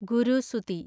ഗുരുസുതി